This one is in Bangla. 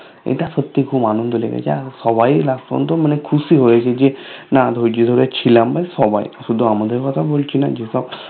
এটা সত্যি খুব আনন্দ লেগেছে আর সবাই Last পর্যন্ত খুশি হয়েছে যে না ধৈর্য ধরে ছিলাম সবাই শুধু আমাদের কথা বলছিনা যেসব